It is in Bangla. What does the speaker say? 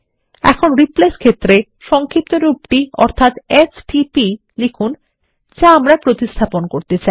এখন রিপ্লেস ক্ষেত্রে সংক্ষিপ্তরূপ টি অর্থাত এসটিপি লিখুন যাআমরা প্রতিস্থাপন করতে চাই